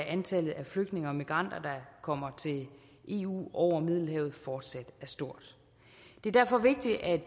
antallet af flygtninge og migranter der kommer til eu over middelhavet fortsat er stort det er derfor vigtigt at